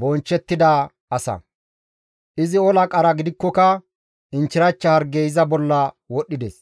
bonchchettida asa. Izi ola qara gidikkoka inchchirachcha hargey iza bolla wodhdhides.